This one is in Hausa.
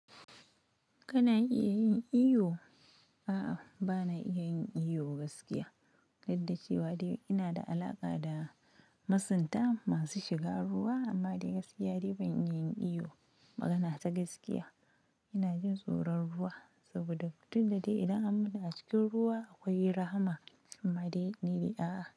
Kana iya yin iyo? A'a, ba na iya yin iyo gaskiya, gadda cewa dai ina da alaƙa da masunta masu shiga ruwa amma dai gaskiya dai ban iya yin iyo magana ta gaskiya. Ina jin tsoron ruwa saboda, duk da dai idan an mutu a cikin ruwa akwai rahama amma dai ni dai a'a.